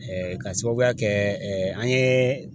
k'a sababuya kɛ an ye